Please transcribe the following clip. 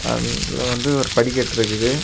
அதுல வந்து ஒரு படிக்கட்டு இருக்குது.